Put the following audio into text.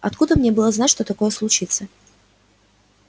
откуда мне было знать что такое случится